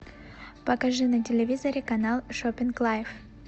покажи на телевизоре канал шопинг лайф